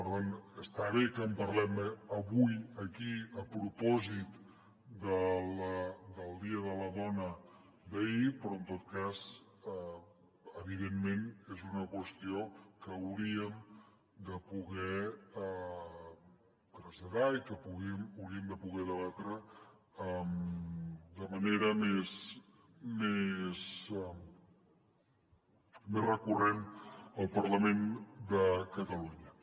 per tant està bé que en parlem avui aquí a propòsit del dia de la dona d’ahir però en tot cas evidentment és una qüestió que hauríem de poder traslladar i que hauríem de poder debatre de manera més recurrent al parlament de catalunya